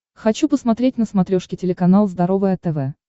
хочу посмотреть на смотрешке телеканал здоровое тв